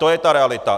To je ta realita.